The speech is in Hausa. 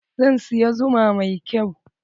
Zan siya zuma mai kyau.